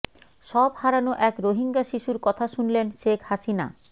সব হারানো এক রোহিঙ্গা শিশুর কথা শুনলেন শেখ হাসিনা